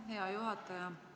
Aitäh, hea juhataja!